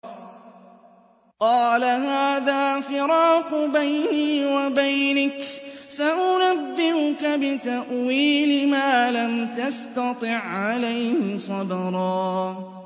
قَالَ هَٰذَا فِرَاقُ بَيْنِي وَبَيْنِكَ ۚ سَأُنَبِّئُكَ بِتَأْوِيلِ مَا لَمْ تَسْتَطِع عَّلَيْهِ صَبْرًا